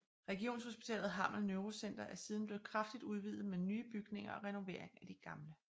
Regionshospitalet Hammel Neurocenter er siden blevet kraftigt udvidet med nye bygninger og renovering af de gamle